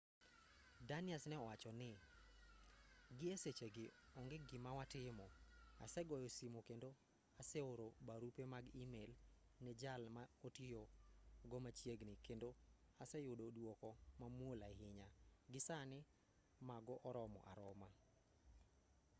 danius ne owacho ni gi e sechegi onge gima watimo asegoyo simu kendo aseoro barupe mag e-mail ne jal ma otiyo go machiegni kendo aseyudo duoko mamuol ahinya gi sani mago oromo aroma